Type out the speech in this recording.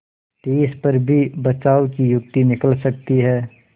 तिस पर भी बचाव की युक्ति निकल सकती है